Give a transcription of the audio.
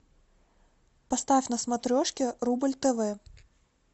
поставь на смотрешке рубль тв